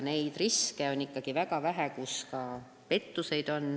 Seda riski on ikkagi väga vähe, et pettusi esineb.